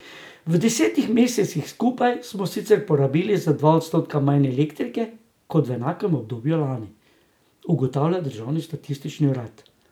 V desetih mesecih skupaj smo sicer porabili za dva odstotka manj elektrike kot v enakem obdobju lani, ugotavlja državni statistični urad.